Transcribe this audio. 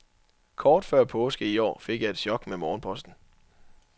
Kort før påske i år fik jeg et chok med morgenposten.